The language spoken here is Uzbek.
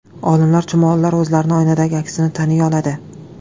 Olimlar: Chumolilar o‘zlarining oynadagi aksini taniy oladi.